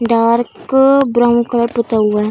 Dark brown colour पुता हुआ है।